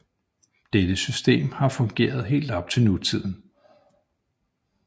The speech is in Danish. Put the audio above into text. Dette system har fungeret helt op til nutiden